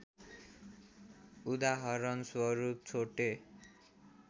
उदाहरण स्वरूप छोटे